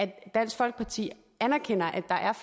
at dansk folkeparti anerkender at der er